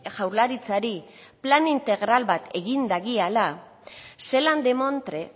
jaurlaritzari plan integral bat egin dagiala zelan demontre